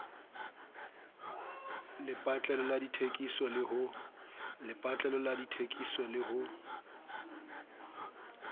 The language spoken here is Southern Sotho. lepatlelo la dithekiso le ho